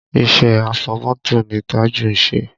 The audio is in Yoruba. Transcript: Iṣẹ́ afọmọ́tò ni Tájù ń ṣe